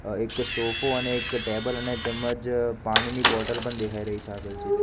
અ એક સોફો અને એક ટેબલ અને તેમજ પાણીની બોટલ પણ દેખાય રહી છે આપેલ ચિત્ર--